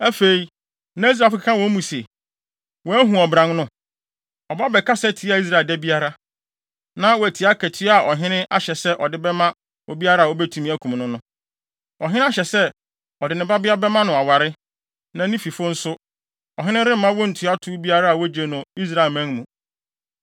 Afei, na Israelfo keka wɔ wɔn mu se, “Woahu ɔbran no? Ɔba bɛkasa tia Israel da biara. Na woate akatua a ɔhene ahyɛ sɛ ɔde bɛma obiara a obetumi akum no no? Ɔhene ahyɛ sɛ ɔde ne babea bɛma no aware, na ne fifo nso, ɔhene remma wontua tow biara a wogye no Israelman mu.”